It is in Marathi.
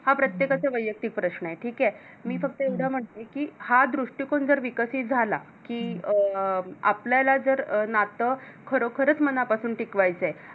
हा प्रत्येकाचा वैयक्तिक प्रश्न आहे ठीक आहे, मी फक्त एवढम्हणते की हा दृष्टीकन जर विकसित झाला कि अं आपल्याला जर नात खरोखरच मनापासून टिकवायचा आहे.